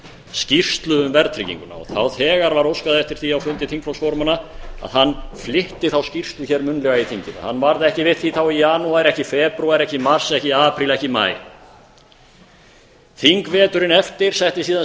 skýrslu um verðtrygginguna þá þegar var óskað eftir því á fundi þingflokksformanna að hann flytti þá skýrslu hér munnlega í þinginu hann varð ekki við því þá í janúar ekki febrúar ekki mars ekki apríl ekki maí þingveturinn eftir setti síðan